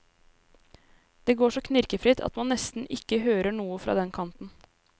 Det går så knirkefritt at man nesten ikke hører noe fra den kanten.